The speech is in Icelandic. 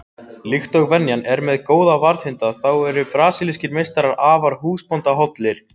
Líkt og venjan er með góða varðhunda þá eru brasilískir meistarar afar húsbóndahollir.